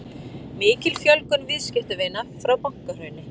Mikil fjölgun viðskiptavina frá bankahruni